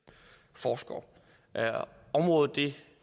forskere området